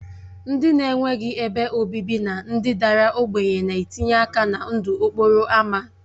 Ndị na-enweghị ebe obibi na ndị dara ogbenye na-etinye aka na ndụ okporo ámá